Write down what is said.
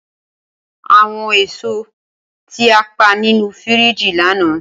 Awọn èso ti a pa ninu firiji lana.